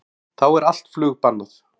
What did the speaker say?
Þá er allt flug bannað